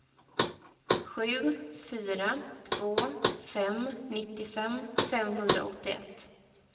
sju fyra två fem nittiofem femhundraåttioett